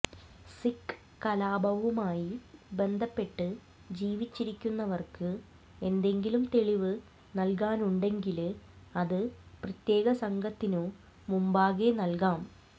സിഖ് കലാപവുമായി ബന്ധപ്പെട്ട് ജീവിച്ചിരിക്കുന്നവര്ക്ക് എന്തെങ്കിലും തെളിവ് നല്കാനുണ്ടങ്കില് അത് പ്രത്യേക സംഘത്തിനു മുമ്പാകെ നല്കാം